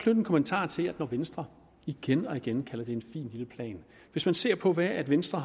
en kommentar til at venstre igen og igen kalder det en fin lille plan hvis man ser på hvad venstre